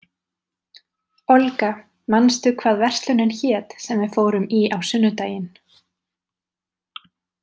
Olga, manstu hvað verslunin hét sem við fórum í á sunnudaginn?